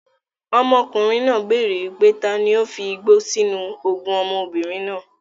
Ọmọkùnrin náà béèrè wípé taani ó fi igbó sì inú oògùn ọmọbìnrin náà.